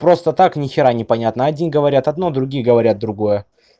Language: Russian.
просто так нехера непонятно один говорят одно другие говорят другое